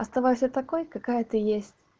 оставайся такой какая ты есть